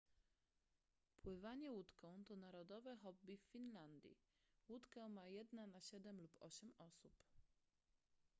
pływanie łódką to narodowe hobby w finlandii łódkę ma jedna na siedem lub osiem osób